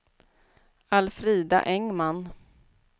Alfrida Engman